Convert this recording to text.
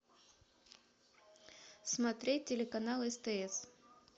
смотреть телеканал стс